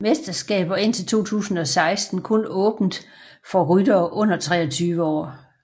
Mesterskabet var indtil 2016 kun åbent for ryttere under 23 år